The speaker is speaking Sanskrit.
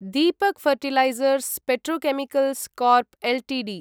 Deepak fertilisers petrochemicals corp Ltd